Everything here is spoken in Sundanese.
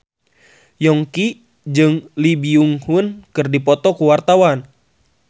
Yongki jeung Lee Byung Hun keur dipoto ku wartawan